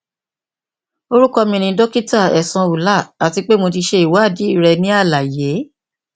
orukọ mi ni dokita ehsan ullah ati pe mo ti ṣe iwadii rẹ ni alaye